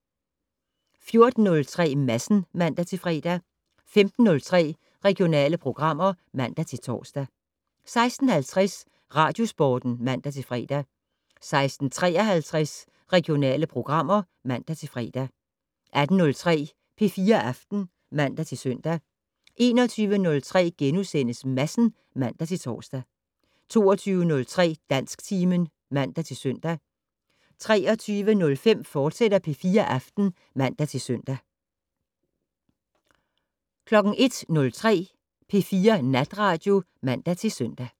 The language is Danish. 14:03: Madsen (man-fre) 15:03: Regionale programmer (man-tor) 16:50: Radiosporten (man-fre) 16:53: Regionale programmer (man-fre) 18:03: P4 Aften (man-søn) 21:03: Madsen *(man-tor) 22:03: Dansktimen (man-søn) 23:05: P4 Aften, fortsat (man-søn) 01:03: P4 Natradio (man-søn)